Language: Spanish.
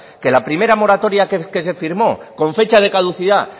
que la primera moratoria que se firmó con fecha de caducidad